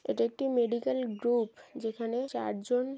এটা একটি medical group যেখানে চারজন--